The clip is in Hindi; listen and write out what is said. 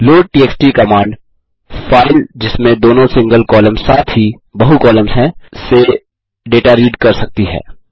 लोडटीएक्सटी कमांड फाइल जिसमें दोनों सिंगल कॉलम साथ ही बहु कॉलम्स हैं से डेटा रीड कर सकती है